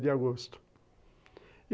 nove de agosto.